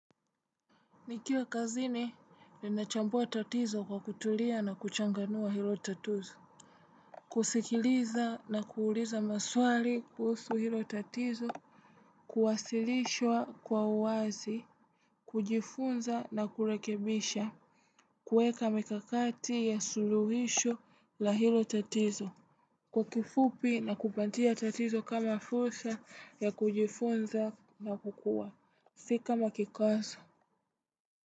Nikiwa kazini ninachambua tatizo kwa kutulia na kuchanganua hilo tatuzo. Kusikiliza na kuuliza maswali kuhusu hilo tatizo kuwasilishwa kwa uwazi, kujifunza na kurekebisha kuweka mikakati ya suluhisho la hilo tatizo kwa kifupi na kupatia tatizo kama fursa ya kujifunza na kukua. Si kama kikwazo.